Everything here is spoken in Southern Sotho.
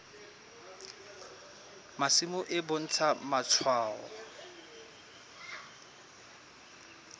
masimo e bontsha matshwao a